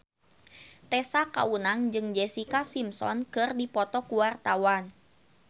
Tessa Kaunang jeung Jessica Simpson keur dipoto ku wartawan